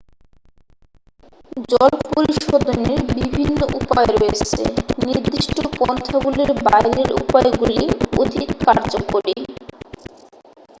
জল পরিশোধনের বিভিন্ন উপায় রয়েছে নির্দিষ্ট পন্থাগুলির বাইরের উপায়গুলি অধিক কার্যকরী